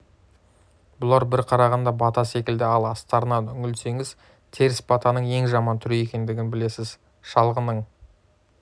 бұлар бір қарағанда бата секілді ал астарына үңілсеңіз теріс батаның ең жаман түрі екендігін білесіз шалғының